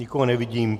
Nikoho nevidím.